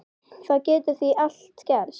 Það getur því allt gerst.